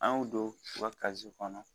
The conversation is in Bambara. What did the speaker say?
An y'o don u ka kɔnɔ